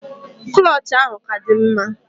Klọch ahụ ka dị mma.